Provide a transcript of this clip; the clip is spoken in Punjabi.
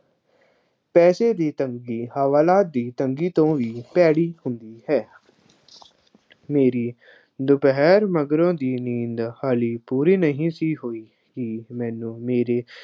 ਪੈਸੇ ਦੀ ਤੰਗੀ, ਹਵਾਲਾਤ ਦੀ ਤੰਗੀ ਤੋਂ ਵੀ ਭੈੜੀ ਹੁੰਦੀ ਹੈ। ਮੇਰੀ ਦੁਪਹਿਰ ਮਗਰੋਂ ਦੀ ਨੀਂਦ ਹਾਲੇ ਪੂਰੀ ਨਹੀਂ ਸੀ ਹੋਈ ਕਿ ਮੈਨੂੰ ਮੇਰੇ